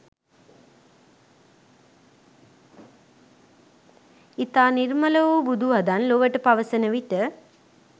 ඉතා නිර්මල වූ බුදු වදන් ලොවට පවසන විට